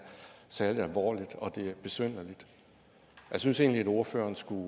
særlig alvorligt og at det er besynderligt jeg synes egentlig ordføreren skulle